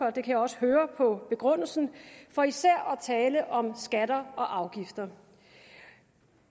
kan jeg også høre på begrundelsen for især at tale om skatter og afgifter